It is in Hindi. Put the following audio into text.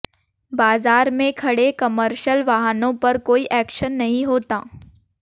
बाजार में खड़े कमर्शल वाहनों पर कोई एक्शन नहीं होता